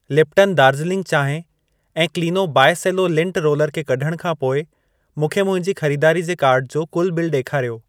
Lipton Darjeeling चांहि ऐं क्लिनो बाइ सेलो लिंट रोलर खे कढण खां पोइ मूंखे मुंहिंजी खरीदारी जे कार्ट जो कुल बिल ॾेखारियो।